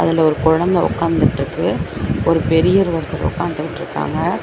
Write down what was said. அதுல ஒரு கொழந்த ஒக்காந்துட்ருக்கு ஒரு பெரியவர் ஒருத்தர் ஒக்காந்துட்ருக்காங்க.